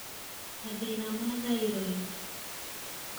mathĩna ma thyroid